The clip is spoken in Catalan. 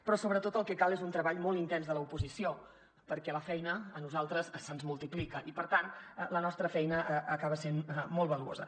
però sobretot el que cal és un treball molt intens de l’oposició perquè la feina a nosaltres se’ns multiplica i per tant la nostra feina acaba sent molt valuosa